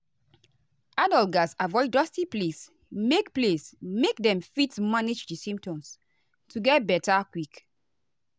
adults gatz avoid dusty place make place make dem fit manage di symptoms to get beta quick.